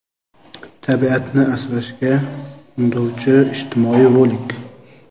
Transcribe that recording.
Tabiatni asrashga undovchi ijtimoiy rolik.